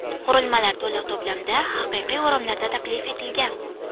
Qurilmalar to‘liq to‘plamda haqiqiy o‘ramlarda taklif etilgan.